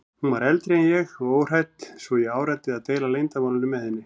Hún var eldri en ég og óhrædd svo ég áræddi að deila leyndarmálinu með henni.